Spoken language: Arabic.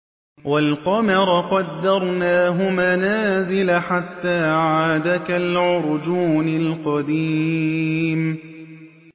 وَالْقَمَرَ قَدَّرْنَاهُ مَنَازِلَ حَتَّىٰ عَادَ كَالْعُرْجُونِ الْقَدِيمِ